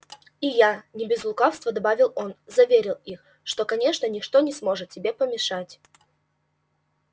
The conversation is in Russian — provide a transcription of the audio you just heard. и я не без лукавства добавил он заверил их что конечно ничто не сможет тебе помешать